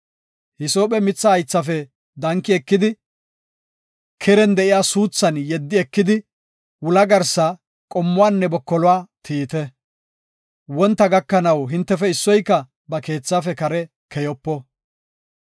Hisoophe mitha haythafe danki ekidi, keren de7iya suuthan yeddi ekidi wula garsa, qomuwanne bokoluwa tiyite. Wontana gakanaw hintefe issoyka ba keethaafe kare keyopo.